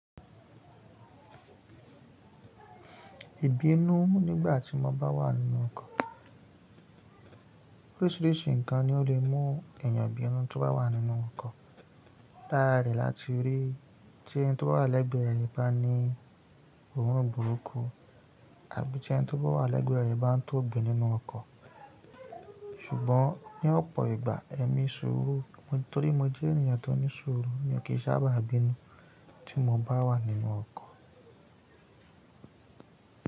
Ìbínú nígbà tí mo bá wà nínú ọkọ̀. Oríṣìíríṣìí nǹkan ni ó lè mú èèyàn bínú tí ó bá wà nínú ọkọ̀. Lára rẹ̀ láti rí tí ẹni tí ó bá wà lẹ́gbẹ̀ẹ́ rẹ bá ní òórùn burúkú àbí tí ẹni tí ó bá wà lẹ́gbẹ̀ẹ́ rẹ bá ń tóbi nínú ọkọ̀. Ṣùgbọ́n ní ọ̀pọ̀ ìgbà, èmi ṣuru torí mo jẹ́ èèyàn tó ní ṣuru, mo kì í sábà bínú tí mo bá wà nínú ọkọ̀